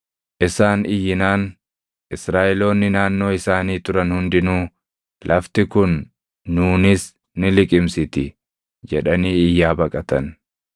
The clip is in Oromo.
Isaan iyyinaan Israaʼeloonni naannoo isaanii turan hundinuu, “Lafti kun nuunis ni liqimsiti!” jedhanii iyyaa baqatan.